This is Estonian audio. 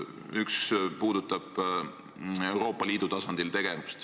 Üks puudutab tegevust Euroopa Liidu tasandil.